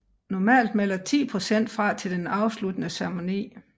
Normalt melder 10 procent fra til den afsluttende ceremoni